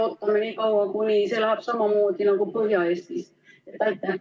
Kas me ootame nii kaua, kuni seal läheb samamoodi nagu Põhja-Eestis?